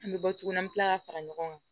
An bɛ bɔ tuguni an bɛ tila ka fara ɲɔgɔn kan